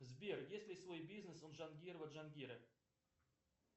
сбер есть ли свой бизнес у джангирова джангира